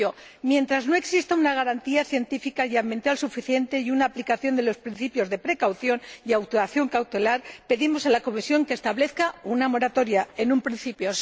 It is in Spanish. Por ello, mientras no haya una garantía científica y ambiental suficiente y una aplicación de los principios de precaución y actuación cautelar, pedimos a la Comisión que establezca una moratoria, en un principio.